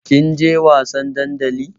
Kin je wasan dandali?